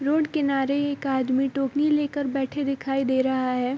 Road के किनारे एक आदमी टोकरी लेकर बैठे हुए दिखाई दे रहा है।